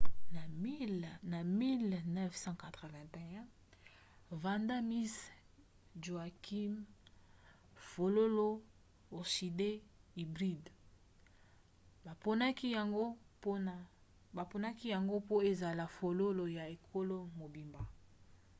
na 1981 vanda miss joaquim fololo orchidée hybride baponaki yango po ezala fololo ya ekolo mobimba